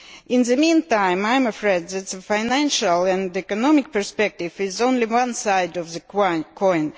In the meantime, I am afraid that the financial and economic perspective is only one side of the coin.